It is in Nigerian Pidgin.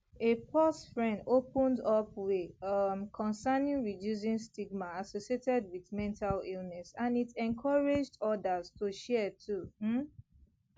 a pause fren opened up wey um concern reducing stigma associated wit mental illness and it encouraged odas to share too um